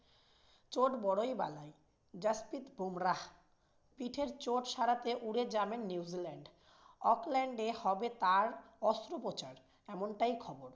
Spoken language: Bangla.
চোট বড়োই বালাই। জাসপ্রিত বুমরাহ পিঠের চোট সারাতে উড়ে যাবেন নিউ জিল্যান্ড। অকল্যান্ডে হবে তার অস্ত্রোপচার এমনটাই খবর।